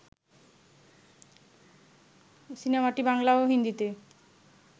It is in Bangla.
সিনেমাটি বাংলা ও হিন্দিতে